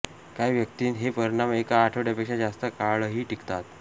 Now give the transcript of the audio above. काही व्यक्तींत हे परिणाम एका आठवड्यापेक्षा जास्त काळही टिकतात